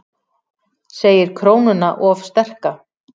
Segir krónuna of sterka